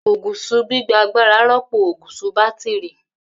Ogùṣọ gbigba agbara rọpo ògùṣọ batiri.